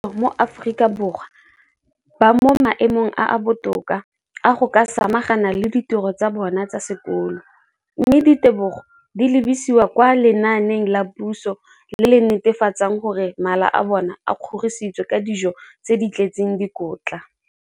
dikolo tsa puso mo Aforika Borwa ba mo maemong a a botoka a go ka samagana le ditiro tsa bona tsa sekolo, mme ditebogo di lebisiwa kwa lenaaneng la puso le le netefatsang gore mala a bona a kgorisitswe ka dijo tse di tletseng dikotla.